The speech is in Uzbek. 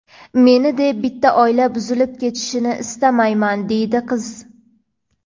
Meni deb bitta oila buzilib ketishini istamayman deydi qiz.